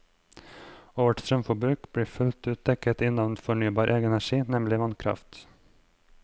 Og vårt strømforbruk blir fullt ut dekket inn av fornybar energi, nemlig vannkraft.